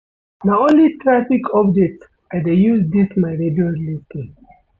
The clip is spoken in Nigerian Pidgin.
Na only traffic updates I dey use dis my radio lis ten.